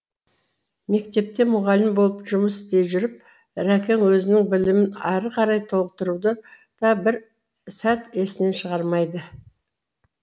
мектепте мұғалім болып жұмыс істей жүріп рәкең өзінің білімін әрі қарай толықтыруды да бір сәт есінен шығармайды